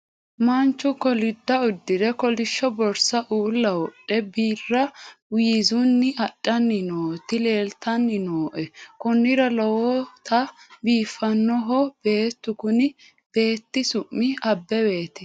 manchu kolidda uddire kolishsho borsa uulla wodhe birra wiizunni adhanni nooti leeltanni nooe konnira lowota biifannoho beetu kuni beeti su'ma abeweeti